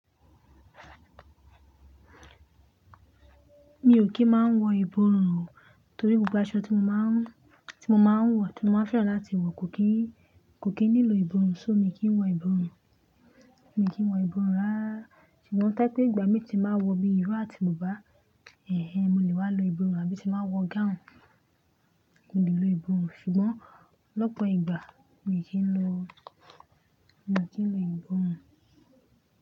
Mi ò kí ń máa ń wọ ìborùn o, torí gbogbo aṣọ tí mo máa ń, tí mo máa ń wọ, tí mo máa ń fẹ́ràn láti wọ̀ kò kíì, kò kí ń nílò ìborùn. So mi kì í wọ ìborùn, mi kì í wọ ìborùn rárá. Ṣùgbọ́n to ba jẹ́'pé ìgbà mi ti máa wọ bíi irú àti bùbá, ẹh ẹh mo lè wá lo ìborùn àbí ti n bá wọ gáùùn. Mo lè lo ìborùn, ṣùgbọ́n lọ́pọ̀ ìgbà mi kìí lo, mi ò kí ń lo ìborùn.